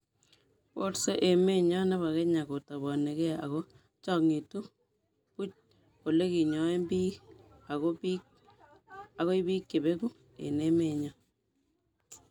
borsee emenyo nebo Kenya, kotabanige ago kochangitu book oleginyoen biik ago biik chebegu eng emenyo